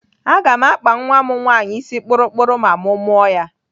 Aga m akpa nwa m nwaanyị isi kpụrụ kpụrụ ma mụ mụọ ya.